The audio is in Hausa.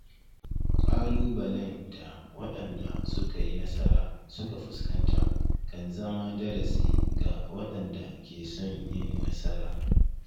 Ƙalubalen da waɗanda suka yi nasara suka fuskanta kan zama darasi ga waɗanda ke son yin nasara.